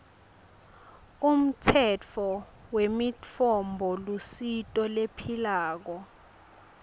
umtsetfo wemitfombolusito lephilako